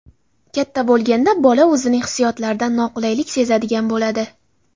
Katta bo‘lganda bola o‘zining hissiyotlaridan noqulaylik sezadigan bo‘ladi.